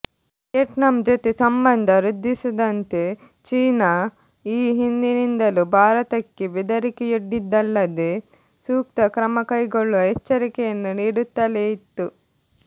Vietnam ಜೊತೆ ಸಂಬಂಧ ವೃದ್ಧಿಸದಂತೆ ಚೀನಾ ಈ ಹಿಂದಿನಿಂದಲೂ ಭಾರತಕ್ಕೆ ಬೆದರಿಕೆಯೊಡ್ಡಿದ್ದಲ್ಲದೆ ಸೂಕ್ತ ಕ್ರಮಕೈಗೊಳ್ಳುವ ಎಚ್ಚರಿಕೆಯನ್ನು ನೀಡುತ್ತಲೇ ಇತ್ತು